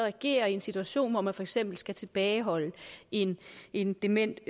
agerer i en situation hvor man for eksempel skal tilbageholde en en dement